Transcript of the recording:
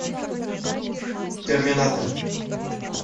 терминатор